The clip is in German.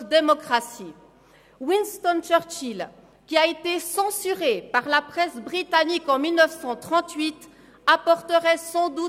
Ich möchte kurz auf das Votum des Motionärs Grossrat Freudiger reagieren.